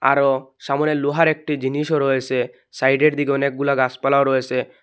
আরও সামোনে লোহার একটি জিনিসও রয়েসে সাইডের দিকে অনেকগুলা গাসপালাও রয়েসে।